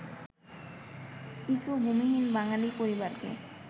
কিছু ভূমিহীন বাঙালি পরিবারকে